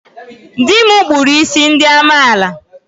Dị m kpụrụ isi ndị amaala.